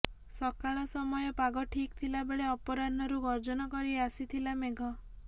ସକାଳ ସମୟ ପାଗ ଠିକ୍ ଥିଲା ବେଳେ ଅପରାହ୍ନରୁ ଗର୍ଜନ କରି ଆସିଥିଲା ମେଘ